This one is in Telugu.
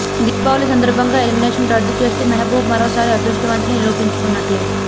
దీపావళి సందర్భంగా ఎలిమినేషన్ రద్దు చేస్తే మెహబూబ్ మరోసారి అదృష్టవంతుడని నిరూపించుకున్నట్లే